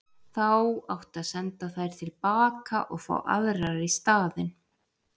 Þá átti að senda þær til baka og fá aðrar í staðinn.